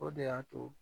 O de y'a to